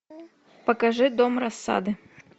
покажи дом рассады